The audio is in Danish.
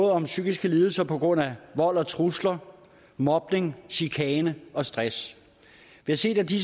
om psykiske lidelser på grund af vold og trusler mobning chikane og stress vi har set at de